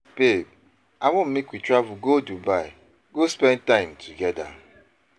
Babe, I want make we travel go Dubai go spend time togeda.